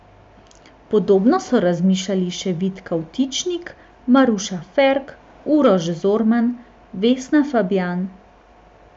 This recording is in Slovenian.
Podobno so razmišljali še Vid Kavtičnik, Maruša Ferk, Uroš Zorman, Vesna Fabjan ...